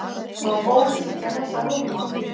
Má bólusetja þessa hópa?